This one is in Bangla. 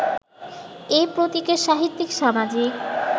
এ প্রতীকের সাহিত্যিক-সামাজিক